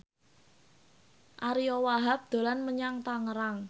Ariyo Wahab dolan menyang Tangerang